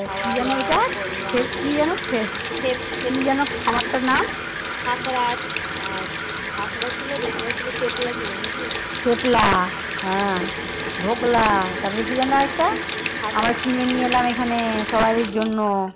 কিনে নিয়ে এলাম এখানে সবারির জন্য